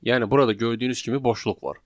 Yəni burada gördüyünüz kimi boşluq var.